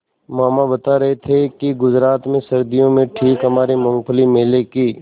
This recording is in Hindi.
मामा बता रहे थे कि गुजरात में सर्दियों में ठीक हमारे मूँगफली मेले की